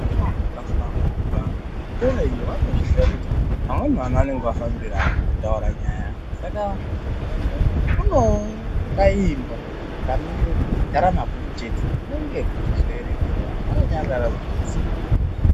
Kune antu akahlamburika kuzvikora iyo vanozvisiya kuyi amweni ana anenge afambira kutaura nyaya saka kunoo kaimba kanonga keigara mabhuku chete kunenge kwechizoerengerwa antu akanyarara kuti zii.